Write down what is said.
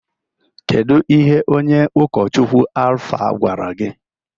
Kedu ihe onye ụkọchukwu Alfa gwara gị?